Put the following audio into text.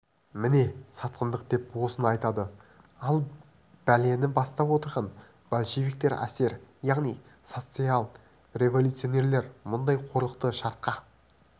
міне сатқындық деп осыны айтады ал бәлені бастап отырған большевиктер эсер яғни социал-революционерлер мұндай қорлықты шартқа